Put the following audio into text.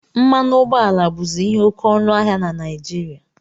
Mmanụ ụgbọala bụzi ihe oke ọnụ ahịa na Naijiria